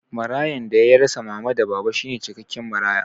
Marayan da ya rasa mama da baba shine cikakken maraya